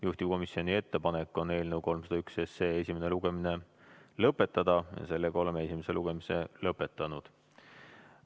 Juhtivkomisjoni ettepanek on eelnõu 301 esimene lugemine lõpetada ja oleme esimese lugemise lõpetanud.